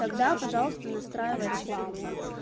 тогда пожалуйста настраивай рекламу